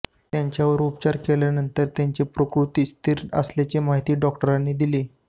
त्यांच्यावर उपचार केल्यानंतर त्यांची प्रकृती स्थिर असल्याची माहिती डॉक्टरांनी दिली